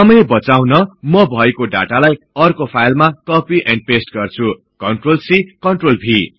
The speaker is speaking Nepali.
समय बचाउन म भएको डाटालाई अर्को फाईलमा कपि एन्ड पेष्ट गर्छु CTRLC CTRLV